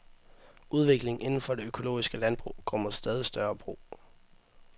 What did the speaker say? Udviklingen inden for det økologiske landbrug går mod stadig større brug.